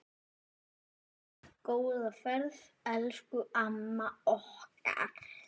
Góða ferð, elsku amma okkar.